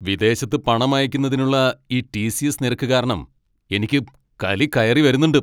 വിദേശത്ത് പണം അയക്കുന്നതിനുള്ള ഈ ടി.സി.എസ്. നിരക്ക് കാരണം എനിക്ക് കലി കയറി വരുന്നുണ്ട്.